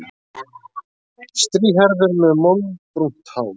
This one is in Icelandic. Strýhærður með moldbrúnt hár.